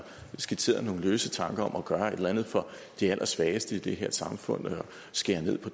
skitseret nogle løse tanker om at gøre et eller andet for de allersvageste i det her samfund og skære ned på